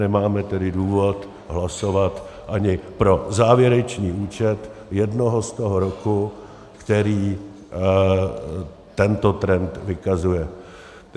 Nemáme tedy důvod hlasovat ani pro závěrečný účet jednoho z toho roku, který tento trend vykazuje.